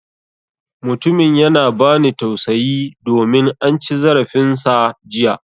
Mutumin yana ba ni tausayi domin an ci zarafin sa jiya.